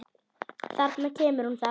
Þarna kemur hún þá!